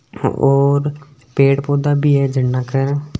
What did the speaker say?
और पेड़ पौधा भी है झरना के --